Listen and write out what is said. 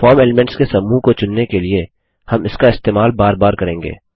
form elements के समूह को चुनने के लिए हम इसका इस्तेमाल बार बार करेंगे